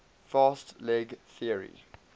fast leg theory